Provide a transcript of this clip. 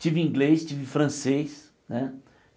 Tive inglês, tive francês né.